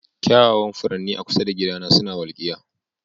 Kyawawan furanni a kusa da gidana suna walkiya.